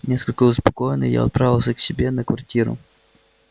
несколько успокоенный я отправился к себе на квартиру